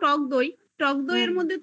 তুমি ধরো টকদইতে